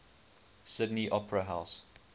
sydney opera house